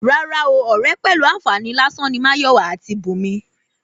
Rárá o, ọ̀rẹ́ pẹ̀lú àǹfààní lásán ni Máyọ̀wá àti Bùnmi